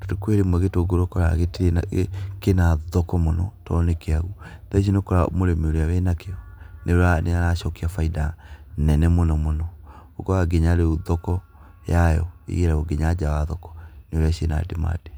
tondũ kwĩrĩmwe ũkoraga gĩtũngũrũ gĩtĩrĩ na kĩna thoko mũno to nĩkĩũ thaicĩ nĩ ũkora mũrĩmĩ ũruĩa wĩnakĩo nĩwonaga nĩ aracokia baida yake nene mũno mũno ũkoraga nginya rĩũ thoko yayo ĩgĩragwo nginya nja wa thoko nĩ ũrĩa ciĩna ndimandi.